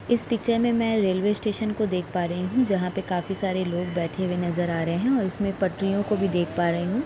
इस पिक्चर में मैं रेलवे स्टेशन को देख पा रही हूँ जहाँ पे काफी सारे लोग बैठे हुए नजर आ रहे हैं और इसमें मैं पटरियों को भी देख पा रही हूँ।